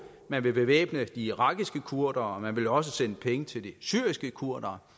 man vil bevæbne de irakiske kurdere og man vil også sende penge til de syriske kurdere